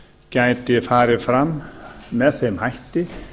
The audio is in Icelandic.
gæti farið fram með þeim hætti